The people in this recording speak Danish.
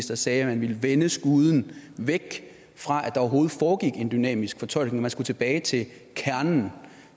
der sagde at man ville vende skuden væk fra at der overhovedet foregik en dynamisk fortolkning man skulle tilbage til kernen